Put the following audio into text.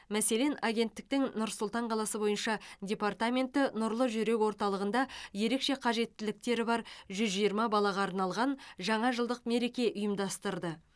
мәселен агенттіктің нұр сұлтан қаласы бойынша департаменті нұрлы жүрек орталығында ерекше қажеттіліктері бар жүз жиырма балаға арналған жаңа жылдық мереке ұйымдастырды